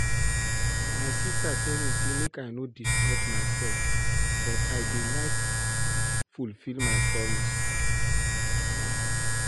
My sister tell me say make I no disturb myself but I dey like fulfill my promise